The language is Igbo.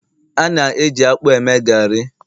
a na-eji akpu eme gari